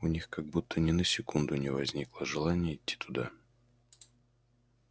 у них как будто ни на секунду не возникало желания идти туда